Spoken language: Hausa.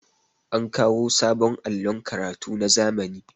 an kawo sabon allon karatu na zamani